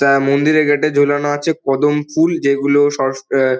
তা মন্দিরের গেট - এ ঝোলানো আছে কদম ফুল যেগুলো সস আ--